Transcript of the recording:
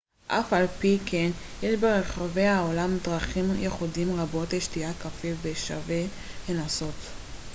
אף על פי כן יש ברחבי העולם דרכים ייחודיות רבות לשתיית קפה ששווה לנסות